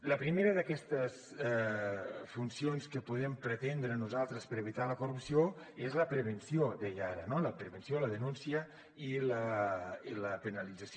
la primera d’aquestes funcions que podem pretendre nosaltres per evitar la corrupció és la prevenció deia ara no la prevenció la denúncia i la penalització